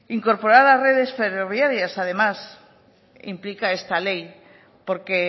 incorporar las redes ferroviarias además implica esta ley porque